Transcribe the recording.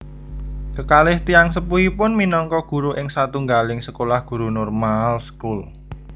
Kekalih tiyang sepuhipun minangka guru ing satunggaling sekolah guru Normaalschool